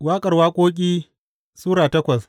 Waƙar Waƙoƙi Sura takwas